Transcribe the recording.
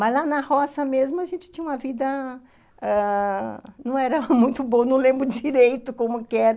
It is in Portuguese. Mas lá na roça mesmo, a gente tinha uma vida ãh... Não era muito boa, não lembro direito como que era.